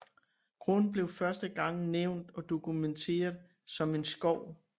Grund blev første gang nævnt og dokumenteret som en skov